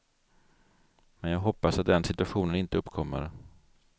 Men jag hoppas att den situationen inte uppkommer.